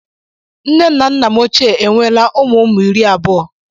Nne m na Nna m ochie enweela ụmụ ụmụ iri abụọ